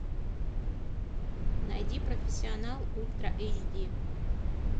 найди профессионал ультра эйч ди